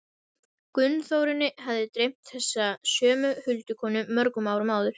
Gunnþórunni hafði dreymt þessa sömu huldukonu mörgum árum áður.